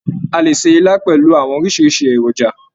A lè ṣe ilá pẹlú àwọn oríṣiríṣi èròjà.